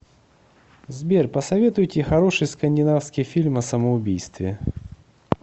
сбер посоветуйте хороший скандинавский фильм о самоубийстве